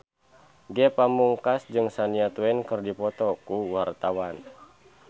Ge Pamungkas jeung Shania Twain keur dipoto ku wartawan